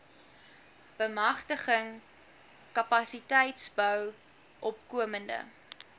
bemagtiging kapasiteitsbou opkomende